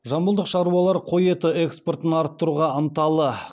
жамбылдық шаруалар қой еті экспортын арттыруға ынталы